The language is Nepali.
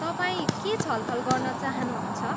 तपाईँ के छलफल गर्न चाहनुहुन्छ?